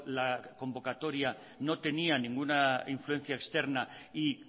la convocatoria no tenía ninguna influencia externa y